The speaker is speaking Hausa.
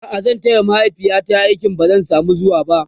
a'a zan taya mahaifiyata aiki ba zan samu zuwaba